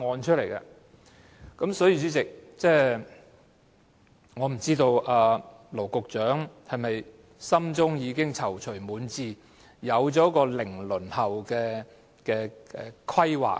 代理主席，我不知羅局長心中是否已經躊躇滿志，有了"零輪候"的規劃。